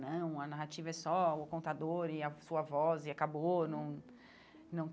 Não, a narrativa é só o contador e a sua voz e acabou não não.